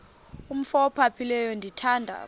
umf ophaphileyo ndithanda